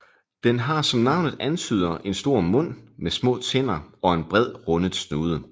Den har som navnet antyder en stor mund med små tænder og en bred rundet snude